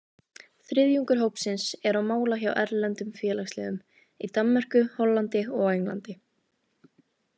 Þriðjungur hópsins er á mála hjá erlendum félagsliðum, í Danmörku, Hollandi og á Englandi.